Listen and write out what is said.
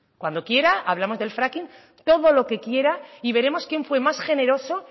cuando quiera hablamos del fracking todo lo que quiera y veremos quién fue más generoso